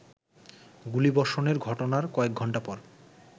গুলিবষর্ণের ঘটনার কয়েকঘন্টা পর